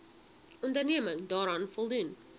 onderneming daaraan voldoen